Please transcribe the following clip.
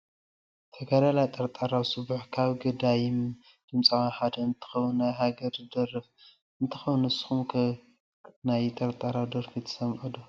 ተጋዳላይ ጠርጣራው ስቡሕ ካብ ገዳይም ድምፃውያን ሓደ እንትከውን ናይ ሃገር ዝደርፍ እንትከውን ንስኩም ከ ናይ ጠርጣራው ደርፊ ትሰምዑ ዶ ?